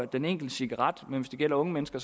den enkelte cigaret koster men hvis det gælder unge mennesker